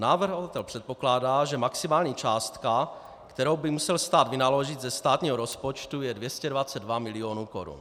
Navrhovatel předpokládá, že maximální částka, kterou by musel stát vynaložit ze státního rozpočtu, je 222 mil. korun.